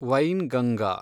Wainganga